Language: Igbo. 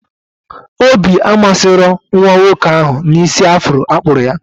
Obi amasịrọ nwa nwoke ahụ na isi afro akpụrụ ya